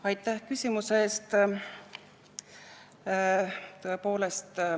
Aitäh küsimuse eest!